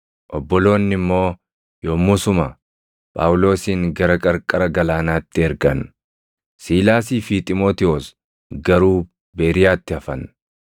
Obboloonni immoo yommusuma Phaawulosin gara qarqara galaanaatti ergan; Siilaasii fi Xiimotewos garuu Beeriyaatti hafan.